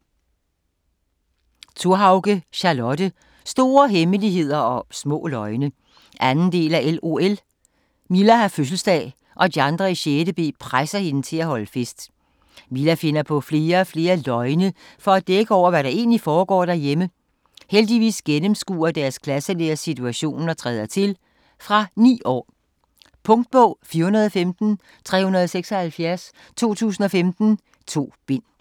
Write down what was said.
Thorhauge, Charlotte: Store hemmeligheder og små løgne 2. del af LOL. Milla har fødselsdag og de andre i 6.b presser hende til at holde fest. Milla finder på flere og flere løgne for at dække over, hvad der egentlig foregår derhjemme. Heldigvis gennemskuer deres klasselærer situationen og træder til. Fra 9 år. Punktbog 415376 2015. 2 bind.